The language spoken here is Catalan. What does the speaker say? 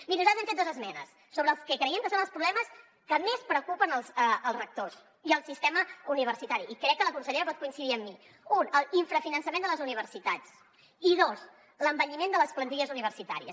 miri nosaltres hem fet dos esmenes sobre el que creiem que són els problemes que més preocupen els rectors i el sistema universitari i crec que la consellera pot coincidir amb mi un l’infrafinançament de les universitats i dos l’envelliment de les plantilles universitàries